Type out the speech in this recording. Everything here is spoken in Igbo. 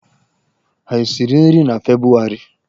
Ha esiri nri na Febụwarị?